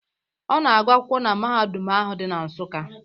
Ọ na-agụ akwụkwọ na mahadum ahụ dị na Nsuka.